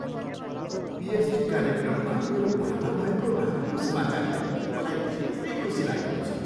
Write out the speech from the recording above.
PhD कार्यक्रममा मेरो भर्ना भएको राम्रो समाचारले मलाई धेरै खुसी लागेको छ।